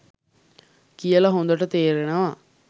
කියල හොඳට තේරෙනවා.